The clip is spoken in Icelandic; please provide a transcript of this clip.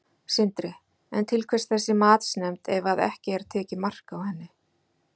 Sindri: En til hvers þessi matsnefnd ef að ekki er tekið mark á henni?